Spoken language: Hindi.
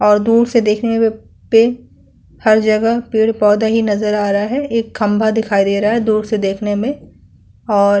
और दूर से देखने में पे हर जगह पेड़-पौधा ही नजर आ रहा है। एक खंभा दिखाई दे रहा है दूर से देखने में। और --